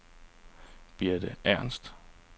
Birte Ernst